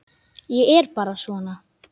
Ég er bara svona.